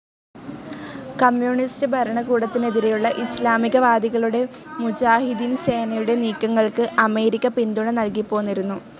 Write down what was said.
Communist ഭരണകൂടത്തിനെതിരെയുള്ള ഇസ്ലാമികവാദികളുടെ മുജാഹിദീൻ സേനയുടെ നീക്കങ്ങൾക്ക്‌ അമേരിക്ക പിന്തുണ നൽകിപ്പോന്നിരുന്നു.